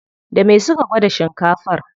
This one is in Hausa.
Da me suka gwada shinkafar?